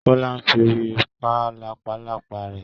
Kọ́lá fi orí pa làpálàpá rẹ̀.